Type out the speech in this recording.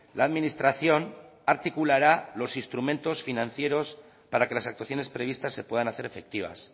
la administración articulará los instrumentos financieros para que las actuaciones previstas se puedan hacer efectivas